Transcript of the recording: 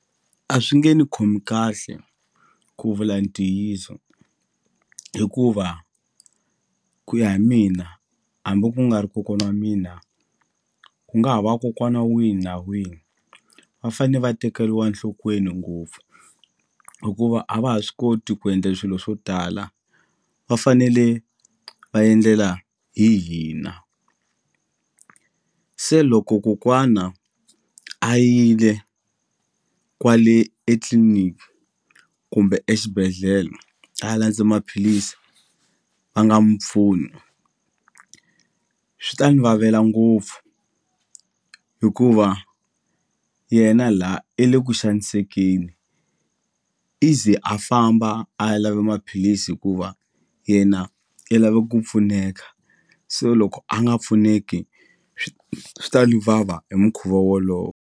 A swi nge ni khomi kahle ku vula ntiyiso hikuva ku ya hi mina hambi ku nga ri kokwana wa mina ku nga ha va kokwana wihi na wihi va fane va tekeriwa nhlokweni ngopfu hikuva a va ha swi koti ku endla swilo swo tala va fanele va endlela hi hina se loko kokwana a yile kwale etliliniki kumbe exibedhlele a landze maphilisi va nga mu pfuni swi ta ni vavela ngopfu hikuva yena la i le ku xanisekeni i ze a famba a ya lava maphilisi hikuva yena i lava ku pfuneka so loko a nga pfuneki swi ta ni vava hi mukhuva wolowo.